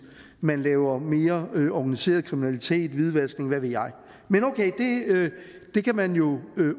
man laver mere organiseret kriminalitet som hvidvask og hvad ved jeg men okay det kan man jo